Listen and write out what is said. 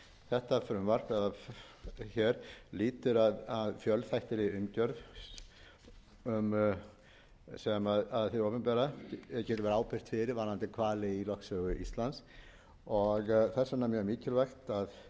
þetta frumvarp hér lýtur að fjölþættri umgjörð sem hið opinbera getur verið ábyrgt fyrir varðandi hvali í lögsögu íslands og þess vegna er mjög mikilvægt að þetta